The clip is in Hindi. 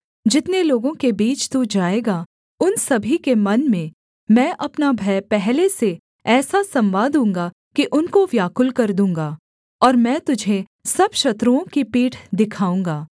जितने लोगों के बीच तू जाएगा उन सभी के मन में मैं अपना भय पहले से ऐसा समवा दूँगा कि उनको व्याकुल कर दूँगा और मैं तुझे सब शत्रुओं की पीठ दिखाऊँगा